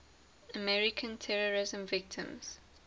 american terrorism victims